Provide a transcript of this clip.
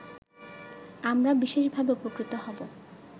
আমরা বিশেষভাবে উপকৃত হব